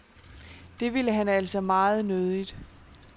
Det ville han altså meget nødigt.